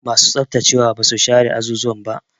Masu tsaftacewa ba su share azuzuwan ba.